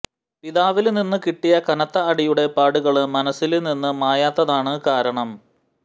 പിതാവില് നിന്ന് കിട്ടിയ കനത്ത അടിയുടെ പാടുകള് മനസ്സില് നിന്ന് മായാത്തതാണ് കാരണം